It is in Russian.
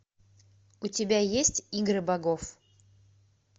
у тебя есть игры богов